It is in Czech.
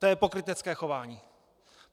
To je pokrytecké chování!